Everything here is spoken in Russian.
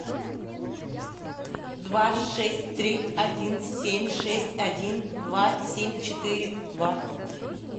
два шесть три один семь шесть один два семь четыре два